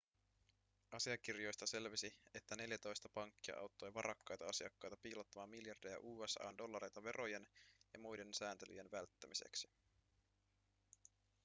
asiakirjoista selvisi että neljätoista pankkia auttoi varakkaita asiakkaita piilottamaan miljardeja usa:n dollareita verojen ja muiden sääntelyjen välttämiseksi